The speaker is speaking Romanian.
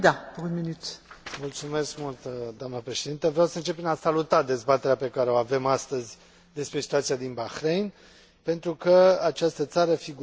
Vreau să încep prin a saluta dezbaterea pe care o avem astăzi despre situația din Bahrain, pentru că această țară figurează, spun mulți, printre uitații Primăverii arabe.